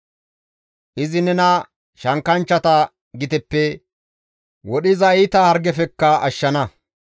Izi nena shankkanchchata giteppe, wodhiza iita hargefekka ashshana.